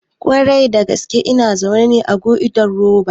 Ƙwarai ina zaune ne a goidan roba